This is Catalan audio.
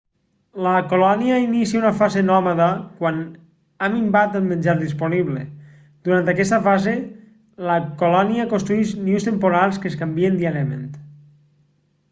la colònia inicia una fase nòmada quan ha minvat el menjar disponible durant aquesta fase la colònia construeix nius temporals que es canvien diàriament